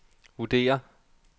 vurderer